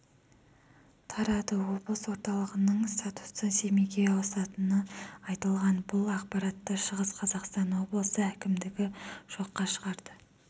тарады облыс орталығының статусы семейге ауысатыны айтылған бұл ақпаратты шығыс қазақстан облысы әкімдігі жоққа шығарды